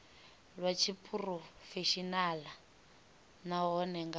lwa tshiphurofeshenaḽa nahone nga u